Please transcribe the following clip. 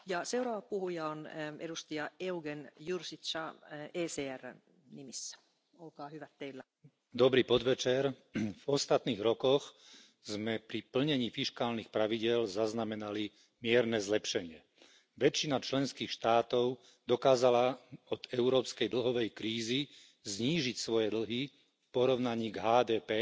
Vážená pani predsedajúca, v ostatných rokoch sme pri plnení fiškálnych pravidiel zaznamenali mierne zlepšenie. Väčšina členských štátov dokázala od európskej dlhovej krízy znížiť svoje dlhy v porovnaní k HDP